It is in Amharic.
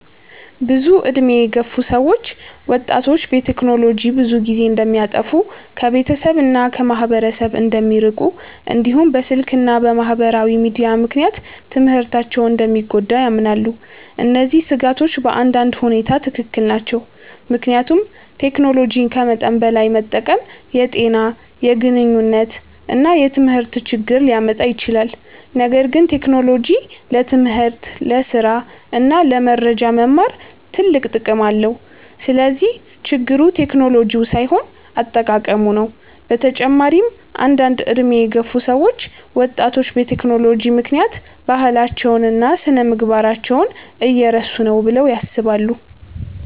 ብዙ ዕድሜ የገፉ ሰዎች ወጣቶች በቴክኖሎጂ ብዙ ጊዜ እንደሚያጠፉ፣ ከቤተሰብ እና ከማህበረሰብ እንደሚርቁ፣ እንዲሁም በስልክ እና በማህበራዊ ሚዲያ ምክንያት ትምህርታቸው እንደሚጎዳ ያምናሉ። እነዚህ ስጋቶች በአንዳንድ ሁኔታ ትክክል ናቸው፣ ምክንያቱም ቴክኖሎጂን ከመጠን በላይ መጠቀም የጤና፣ የግንኙነት እና የትምህርት ችግር ሊያመጣ ይችላል። ነገር ግን ቴክኖሎጂ ለትምህርት፣ ለስራ እና ለመረጃ መማር ትልቅ ጥቅም አለው። ስለዚህ ችግሩ ቴክኖሎጂው ሳይሆን አጠቃቀሙ ነው። በተጨማሪም አንዳንድ ዕድሜ የገፉ ሰዎች ወጣቶች በቴክኖሎጂ ምክንያት ባህላቸውን እና ስነ-ምግባራቸውን እየረሱ ነው ብለው ያስባሉ።